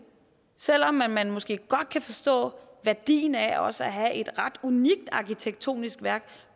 selv om man man måske godt kan forstå værdien af også at have et ret unikt arkitektonisk værk